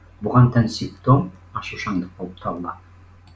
бұған тән симптом ашушаңдық болып табылады